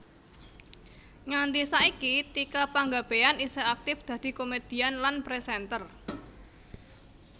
Nganti saiki Tika Panggabean isih aktif dadi komèdian lan présènter